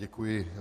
Děkuji.